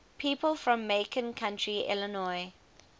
people from macon county illinois